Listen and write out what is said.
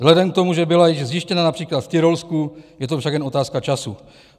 Vzhledem k tomu, že byla již zjištěna například v Tyrolsku, je to však jen otázka času.